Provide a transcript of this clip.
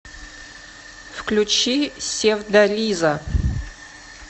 включи севдализа